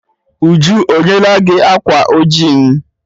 Uju o nyela gi ákwà oji m?